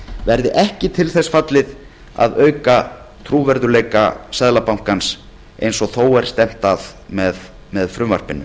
verði ekki til þess fallið að auka trúverðugleika seðlabankans eins og þó er stefnt að með frumvarpinu